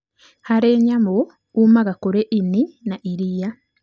Harĩ nyamũ, umaga kũrĩ ini na iria.